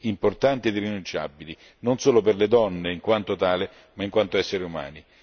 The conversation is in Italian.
importanti e irrinunciabili, non solo per le donne in quanto tali, ma in quanto esseri umani.